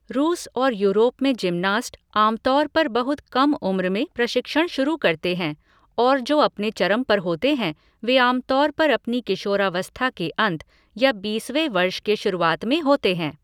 रूस और यूरोप में जिमनास्ट आमतौर पर बहुत कम उम्र में प्रशिक्षण शुरू करते हैं और जो अपने चरम पर होते हैं वे आमतौर पर अपनी किशोरावस्था के अंत या बीसवें वर्ष के शुरुआत में होते हैं।